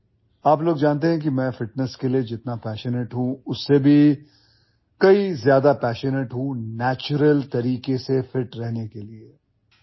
आप लोग जानते हैं कि मैं ଫିଟନେସ୍ के लिए जितना ପାସନେଟ୍ हूं उससे भी कई ज्यादा ପାସନେଟ୍ हूं ନ୍ୟାଚୁରାଲ तरीके से ଫିଟ୍ रहने के लिए